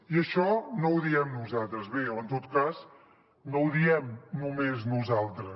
i això no ho diem nosaltres bé o en tot cas no ho diem només nosaltres